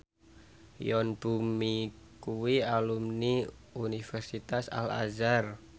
Yoon Bomi kuwi alumni Universitas Al Azhar